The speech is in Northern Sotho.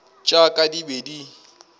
tša ka di be di